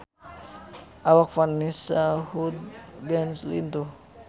Awak Vanessa Hudgens lintuh